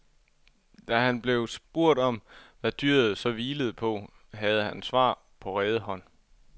Da han blev spurgt om, hvad dyret så hvilede på, havde han svar på rede hånd.